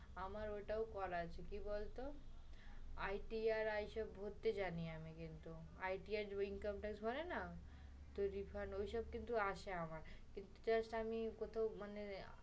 আমার ওটাও করাও আছে, কি বলতো? ITI পড়তে জানি আমি কিন্তু। ITI হয় না, ওগুলা আসে আমার। কিন্তু just আমি কোথাও মানে